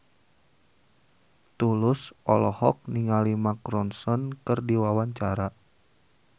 Tulus olohok ningali Mark Ronson keur diwawancara